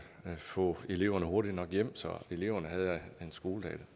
få eleverne hurtigt nok hjem så eleverne havde en skoledag